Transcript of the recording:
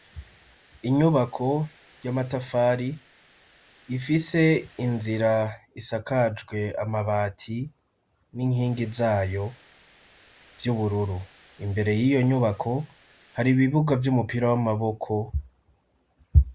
Inyubako y'amatafari ifise inzira isakajwe amabati n'inkingi zayo vyubururu. Imbere y'iyo nyubako hari ibibuga vy'umupira w'amaboko.